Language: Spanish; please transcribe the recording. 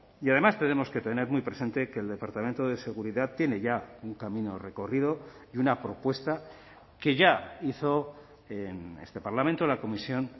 y además tenemos que tener muy presente que el departamento de seguridad tiene ya un camino recorrido y una propuesta que ya hizo en este parlamento la comisión